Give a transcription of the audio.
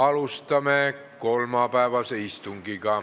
Alustame kolmapäevast istungit.